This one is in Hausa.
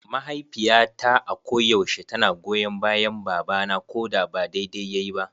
Mahaifiyata a ko yaushe tana goyon bayan baba na koda ba daidai yayi ba.